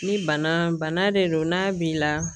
Ni bana bana de don n'a b'i la